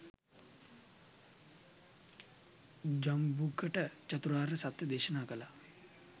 ජම්බුකට චතුරාර්ය සත්‍යය දේශනා කළා.